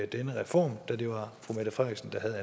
denne reform da det var fru mette frederiksen der